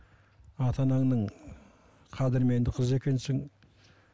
ата анаңның қадірменді қызы екенсің